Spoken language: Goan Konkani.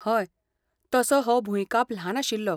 हय, तसो हो भुंयकाप ल्हान आशिल्लो.